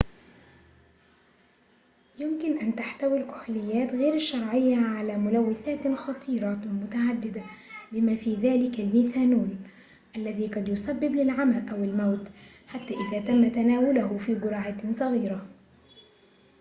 يمكن أن تحتوي الكحوليات غير الشرعية على ملوثات خطيرة متعددة بما في ذلك الميثانول الذي قد يسبب للعمى أو الموت حتى إذا تم تناوله في جرعات صغيرة